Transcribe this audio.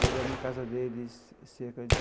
Moramos na casa deles cerca de...